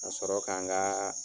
Ka sɔrɔ ka nka